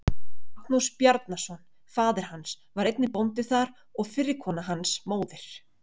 Magnús Bjarnason, faðir hans, var einnig bóndi þar og fyrri kona hans, móðir